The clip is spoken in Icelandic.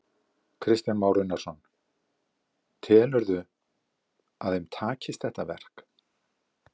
Kristján Már Unnarsson: Telur þú að þeim takist þetta verk?